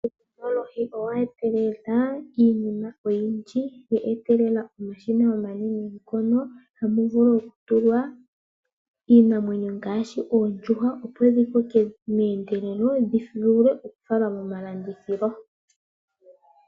Uutekinolohi owa etelela iinima oyindji. Owa etelela omashina omanene ngono tamu vulu oku tulwa iinamwenyo ngaashi oondjuhwa opo dhi koke meendelelo dhi vule oku kala momalandithilo.